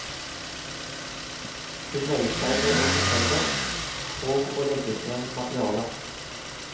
Hun nøyer seg med å fortelle og å legge frem materiale.